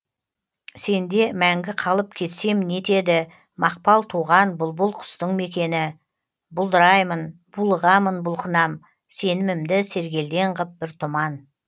сенде мәңгі қалып кетсем не етеді мақпал туған бұлбұл құстың мекені бұлдыраймын булығамын бұлқынам сенімімді сергелдең ғып бір тұман